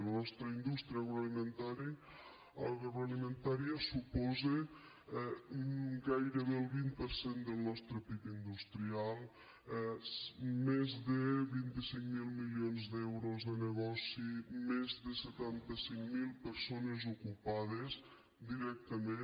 la nostra indústria agroalimentària suposa gairebé el vint per cent del nostre pib industrial més de vint cinc mil milions d’euros de negoci més de setanta cinc mil persones ocupades directament